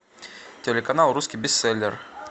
телеканал русский бестселлер